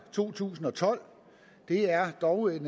to tusind og tolv det er dog en